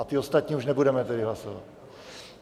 A ty ostatní už nebudeme tedy hlasovat.